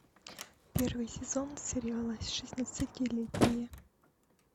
первый сезон сериала шестнадцатилетние